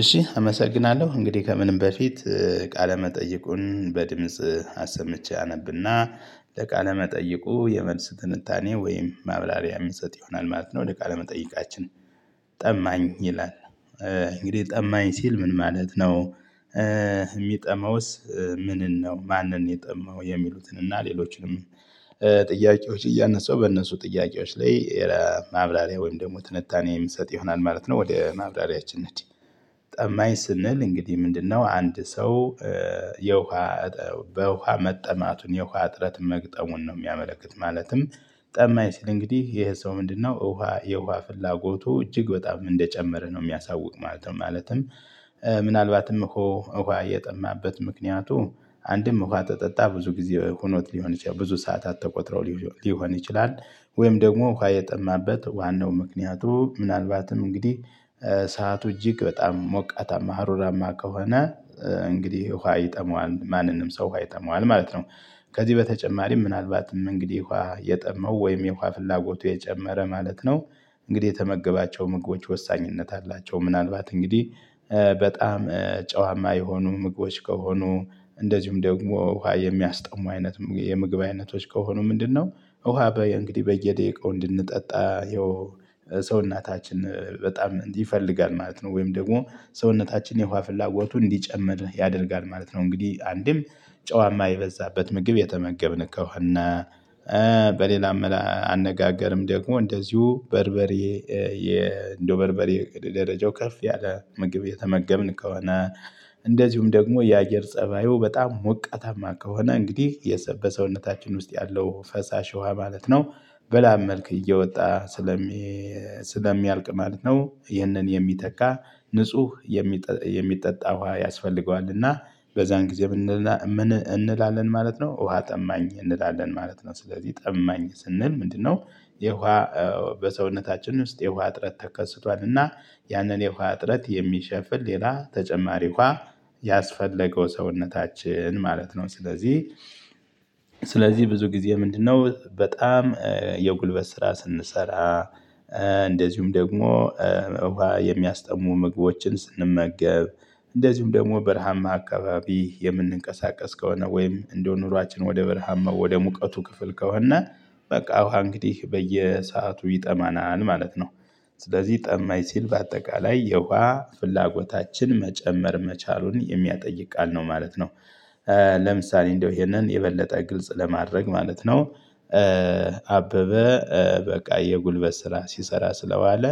እሺ አመሰግናለሁ እንግዲህ ከምንም በፊት ቃለ መጠይቁን በድምጽ አሰምቼ አነብና መጠይቁ የመልስ ትንታኔ ወይም ማብራሪያ ምሰጥ ይሆናል ማለት ነው። ለቃለ መጠይቃችን ታማኝ ይላል እንግዲህ ጠማኝ ሲል ምን ማለት ነው? የሚጠመውስ ምንን ነው ማንን የጠማው የሚሉትን እና ሌሎችንም ጥያቄዎች እያነሳው በእነሱ ጥያቄዎች ላይ ማብራሪያ ወይም ደግሞ ትንታኔ የሚሰጥ ይሆናል ማለት ነው። ወደ ማብራሪያችን እንሕድ። ጠማኝ ስንል እንግዲህ ምንድነው? አንድ ሰው የውሃ በውሃ መጠማቱን የውሃ እጥረት መግጠሙን ነው። የሚያመለክት ማለትም ጠማኝ ሲል እንግዲህ ይሄ ሰው ምንድነው ውሃ የውሃ ፍላጎቱ እጅግ በጣም እንደጨመረ ነው የሚያሳውቅ ማለት ነው። ማለትም ምናልባትም እኮ ውሃ የጠማበት ምክንያቱ አንድም ውሃ ተጠጣ ብዙ ጊዜ ሁኖት ሊሆን ይችላል ብዙ ሰዓታት ተቆጥረው ሊሆን ይችላል። ወይም ደግሞ ውሃ የጠማበት ዋናው ምክንያቱ ምናልባትም እንግዲህ ሰዓቱ እጅግ በጣም ሞቃታማ ሀሩራማ ከሆነ። እንግዲህ ውሃ ይጠመዋል ማንንም ሰው ውሃ ይጠመዋል ማለት ነው። ከዚህ በተጨማሪም ምናልባትም እንግዲህ ውሃ የጠማው ወይም የውሃ ፍላጎቱ የጨመረ ማለት ነው። እንግዲህ የተመገባቸው ምግቦች ወሳኝነት አላቸው ምናልባት እንግዲህ በጣም ጨዋማ የሆኑ ምግቦች ከሆኑ። እንደዚሁም ደግሞ ውሃ የሚያስጠሙ አይነት የምግብ አይነቶች ከሆኑ ምንድነው? ውሃ በየ እንግዲህ በየደቂቃው እንድንጠጣ ይኸው ሰውነታችን በጣም ይፈልጋል ማለት ነው። ወይም ደግሞ ሰውነታችን የውሃ ፍላጎቱን እንዲጨምር ያደርጋል ማለት ነው። እንግዲህ አንድም ጨዋማ የበዛበት ምግብ የተመገብን ከሆነ። በሌላም አነጋገርም ደግሞ እንደዚሁ በርበሬ እንደው በርበሬ ደረጃው ከፍ ያለ ምግብ የተመገብን ከሆነ። እንደዚሁም ደግሞ የአየር ፀባዩ በጣም ሞቀታማ ከሆነ እንግዲህ የሰ በሰውነታችን ውስጥ ያለው ፈሳሽ ውሃ ማለት ነው። በላብ መልክ እየወጣ ስለሚ ስለሚያልቅ ማለት ነው። ይህንን የሚተካ ንጹህ የሚጠጣ ውሃ ያስፈልገዋል። እና በዛን ጊዜ እንላለን ማለት ነው። ውሃ ጠማኝ እንላለን ማለት ነው ስለዚህ ጠማኝ ስንል ምንድነው? የውሃ በሰውነታችን ውስጥ የውሃ እጥረት ተከስቷል እና ያንን የውሃ እጥረት የሚሸፍን ሌላ ተጨማሪ ውሃ ያስፈለገው ሰውነታችን ማለት ነው። ስለዚህ። ስለዚህ ብዙ ጊዜ ምንድነው በጣም የጉልበት ስራ ስንሰራ። እንደዚሁም ደግሞ የሚያስጠሙ ምግቦችን ስንመገብ እንደዚሁም ደግሞ በረሃማ አካባቢ የምንንቀሳቀስ ከሆነ ወይም እንደው ኑሯችን ወደ በረሃማ ወደ ሙቀቱ ክፍል ከሆነ። በቃ ውሃ እንግዲህ በየሰአቱ ይጠማናል ማለት ነው። ስለዚህ ጠማኝ ሲል በአጠቃላይ የውሃ ፍላጎታችን መጨመር መቻሉን የሚያጠይ ቃል ነው ማለት ነው። ለምሳሌ እንደው ይሄንን የበለጠ ግልጽ ለማድረግ ማለት ነው። አበበ በቃ የጉልበት ስራ ሲሰራ ስለዋለ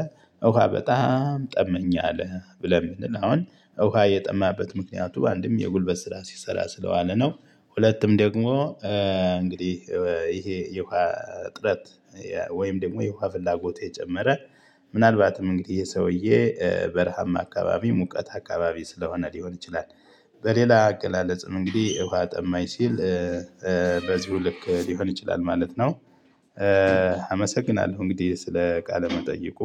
ውሃ በጣም ጠማኝ አለ ብለን ብንል አሁን ውሃ የጠማበት ምክንያቱ አንድም የጉልበት ስራ ሲሰራ ስለዋለ ነው። ሁለትም ደግሞ እንግዲህ ይሄ የውሃ እጥረት ወይም ደግሞ የውሃ ፍላጎት እየጨመረ ምናልባትም እንግዲህ ይሄ የሰውዬ በረሃማ አካባቢ ሙቀት አካባቢ ስለሆነ ሊሆን ይችላል። በሌላ አገላለጽም እንግዲህ ውሃ ጠማኝ ሲል በዚሁ ልክ ሊሆን ይችላል ማለት ነው። አመሰግናለሁ እንግዲህ ስለ ቃል መጠይቁ።